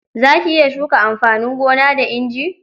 Za ki iya shuka amfanin gona da inji?